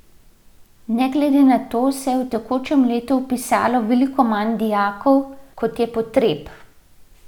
Ne glede na to se je v tekočem letu vpisalo veliko manj dijakov, kot je potreb.